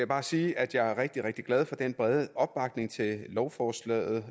bare sige at jeg er rigtig rigtig glad for den brede opbakning til lovforslaget